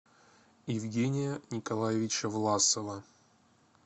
евгения николаевича власова